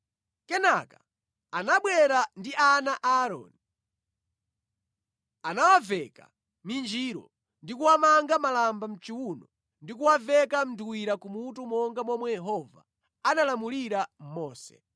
Kenaka anabwera ndi ana a Aaroni. Anawaveka minjiro, ndi kuwamanga malamba mʼchiwuno ndi kuwaveka nduwira kumutu monga momwe Yehova analamulira Mose.